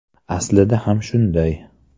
Aslida ham shunday”.